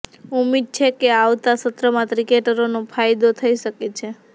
ઉમ્મીદ છે કે આવતા સત્રમાં ક્રિકેટરોને ફાયદો થઈ શકે છે